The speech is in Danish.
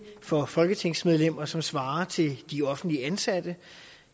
for folketingsmedlemmer som svarer til de offentlige ansattes